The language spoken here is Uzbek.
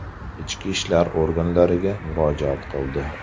ichki ishlar organlariga murojaat qildi.